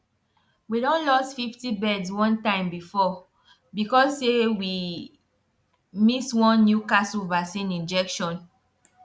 we don lost fifty birds one time before because say way miss one newcastle vaccine injection